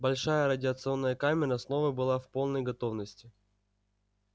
большая радиационная камера снова была в полной готовности